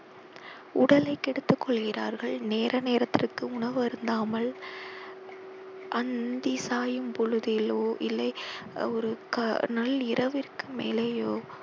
உடலை கெடுத்துக் கொள்கிறார்கள் நேர நேரத்திற்கு உணவு அருந்தாமல் அந்தி சாயும் பொழுதிலோ இல்லை ஒரு க~ நல்ல இரவிற்க்கு மேலேயோ